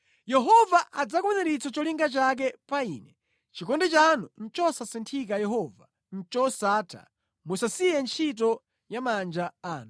Yehova adzakwaniritsa cholinga chake pa ine; chikondi chanu chosasinthika Yehova, ndi chosatha musasiye ntchito ya manja anu.